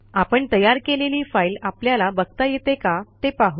आपण तयार केलेली फाईल आपल्याला बघता येते का ते पाहू